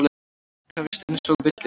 Krefjist einsog villidýr.